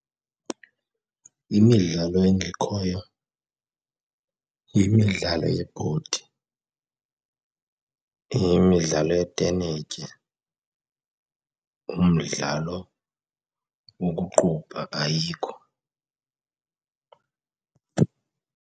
Imidlalo engekhoyo yimidlalo yebhodi, yimidlalo yetenetya, umdlalo wokuqubha ayikho.